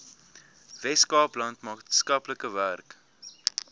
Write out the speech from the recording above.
weskaapland maatskaplike werk